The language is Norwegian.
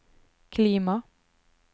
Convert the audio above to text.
klima